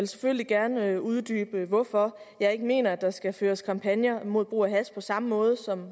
selvfølgelig gerne uddybe hvorfor jeg ikke mener at der skal føres kampagner mod brug af hash på samme måde som